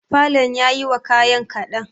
falon yayi wa kayan kaɗan.